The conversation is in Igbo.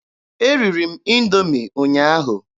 Eriri m Indoomi ụnyaahụ.